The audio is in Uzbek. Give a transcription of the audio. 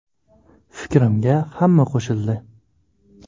Fikrimga hamma qo‘shildi.